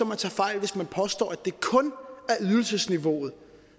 man tager fejl hvis man påstår at det kun er ydelsesniveauet